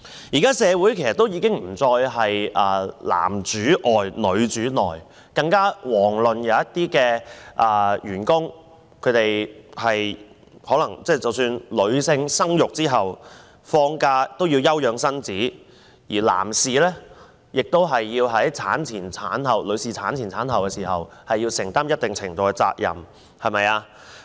事實上，現時社會已不再是男主外、女主內的情況，一些女員工在生產後需要放假休養身體，而男士亦要在女方產前及產後承擔一定程度的責任。